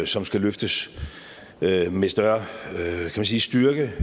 som skal løftes med med større styrke